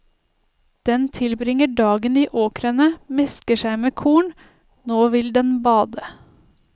Den tilbringer dagen i åkrene, mesker seg med korn, nå vil den bade.